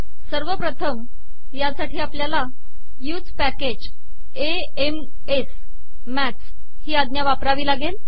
सवरपथम यासाठी आपलयाला use package A M S maths ही आजा वापरावी लागेल